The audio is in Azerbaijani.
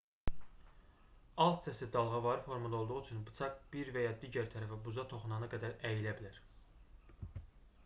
alt hissəsi dalğavari formada olduğu üçün bıçaq bir və ya digər tərəfə buza toxunana qədər əyilə bilər